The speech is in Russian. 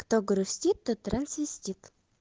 кто грустит тот трансвестит